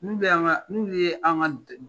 N'olu ye an ka